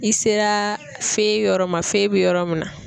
I sera yɔrɔ ma bi yɔrɔ min na.